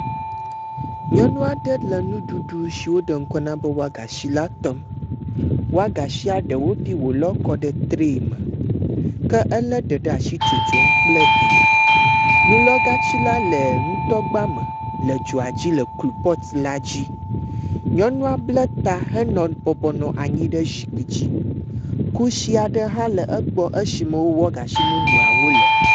Nyɔnu aɖe le nuɖuɖ si woɖe ŋkɔ na be wɔagasi la tɔm. Wɔgasia ɖewo bi wolɔ kɔ ɖe tra me. Ke ele ɖe ɖe asi tsom kple hɛ. Nulɔgatsi la le nutɔgba me le dzoa dzi le klupɔt la dzi. Nyɔnua bla ta henɔ bɔbɔnɔ anyi ɖe zikpui dzi. Kusi aɖe hã le egbɔ esime wɔgashiawo le.